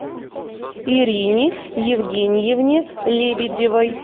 ирине евгеньевне лебедевой